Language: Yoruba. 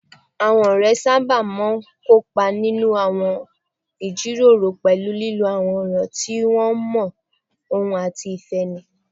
Àwọn ọ̀rẹ́ sábà máa ń kópa nínú àwọn ìjíròrò pẹ̀lú lílo àwọn ọ̀rọ̀ tí wọ́n mọ̀ ọ́n àti ìfẹ́ni